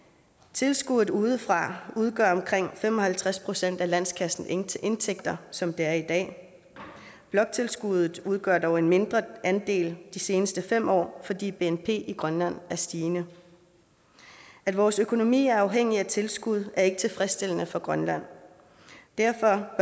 tilskuddet udefra udgør omkring fem og halvtreds procent af landskassens indtægter indtægter som det er i dag bloktilskuddet udgør dog en mindre andel de seneste fem år fordi bnp i grønland er stigende at vores økonomi er afhængig af tilskud er ikke tilfredsstillende for grønland derfor